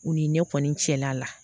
U ni ne kɔni cɛla la